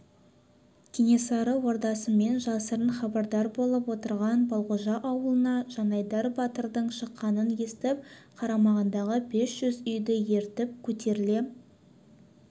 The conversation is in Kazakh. кенесары ордасымен жасырын хабардар болып отырған балғожа аулына жанайдар батырдың шыққанын естіп қарамағындағы бес жүз үйді ертіп көтеріле